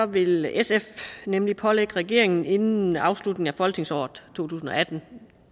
vil sf nemlig pålægge regeringen inden afslutningen af folketingsåret to tusind og atten